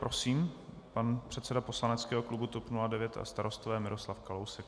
Prosím, pan předseda poslaneckého klubu TOP 09 a Starostové Miroslav Kalousek.